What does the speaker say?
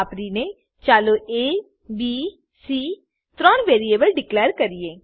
વાપરીને ચાલો A B C ત્રણ વેરીએબલ ડીકલેર કરીએ